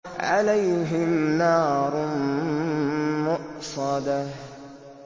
عَلَيْهِمْ نَارٌ مُّؤْصَدَةٌ